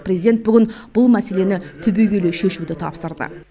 президент бүгін бұл мәселені түбегейлі шешуді тапсырды